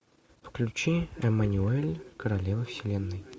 включи эммануэль королева вселенной